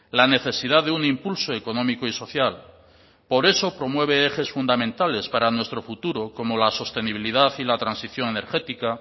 la necesidad de un impulso económico y social por eso promueve ejes fundamentales para nuestro futuro como la sostenibilidad y la transición energética